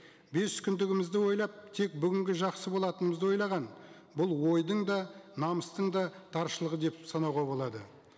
бес күндігімізді ойлап тек бүгінгі жақсы болатынымызды ойлаған бұл ойдың да намыстың да таршылығы деп санауға болады